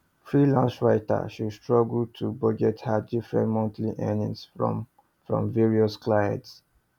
freelance writer she struggle to budget her different monthly earnings from from various clients